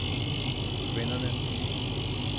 kvinderne